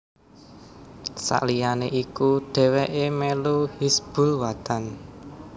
Saliyané iku dhéwéké melu Hizbul Wathan